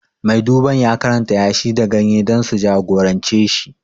Mai duban ya karanta yashi da ganye dan su jagorance shi